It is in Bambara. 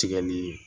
Tigɛli